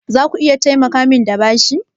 Zaku iya taimakamin da bashi?